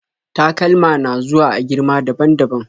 Takalma na zuwa a girma daban-daban